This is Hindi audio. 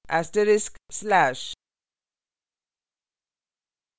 */